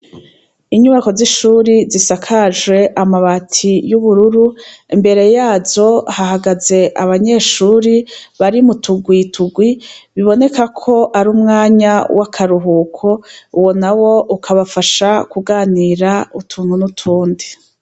Inyubako z'ishuri zisakajwe amabati y'ubururu mbere yazo hahagaze abanyeshuri bari mu tugwitugwi biboneka ko ari umwanya w'akaruhuko uwo na wo ukabafasha kuganira utunku nutundi.